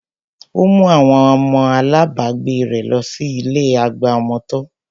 Ó mú àwọn ọmọ alábagbé rẹ̀ lọ sí ilé àgbà ọmọ tọ́